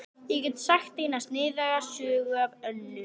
Ég get sagt eina sniðuga sögu af Önnu.